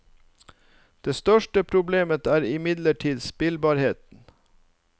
Det største problemet er imidlertid spillbarheten.